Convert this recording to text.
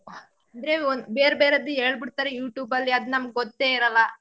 ಅಂದ್ರೆ ಒಂದ್ ಬೇರ್ಬೇರೆದು ಹೇಳ್ಬಿಡ್ತಾರೆ youtube ಅಲ್ಲಿ ಅದ್ ನಮ್ಗ್ ಗೊತ್ತೇ ಇರಲ್ಲ.